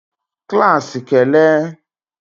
klaasị kele!